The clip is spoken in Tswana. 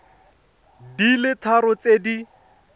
di le tharo tse di